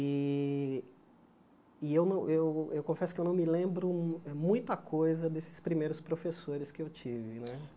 E eu não eu eu confesso que eu não me lembro muita coisa desses primeiros professores que eu tive né.